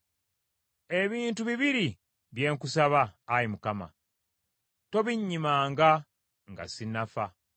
Ebintu bibiri bye nkusaba; Ayi Mukama , tobinnyimanga nga sinnafa: